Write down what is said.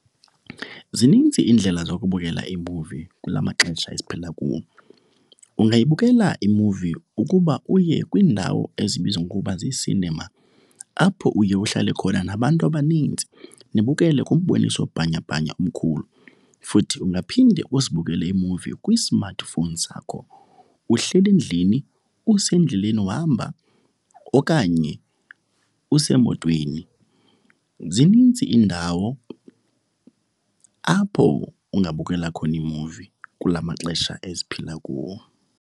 Zinintsi iindlela zokubukela iimuvi kula maxesha esiphila kuwo. Ungayibukela imuvi ukuba uye kwiindawo ezibizwa ngokuba zii-cinema, apho uye uhlale khona nabantu abanintsi nibukele kumboniso bhanyabhanya omkhulu. Futhi ungaphinde uzibukele iimuvi kwi-smartphone sakho uhleli endlini, usendleleni uhamba okanye usemotweni. Zinintsi iindawo apho ungabukela khona iimuvi kula maxesha esiphila kuwo.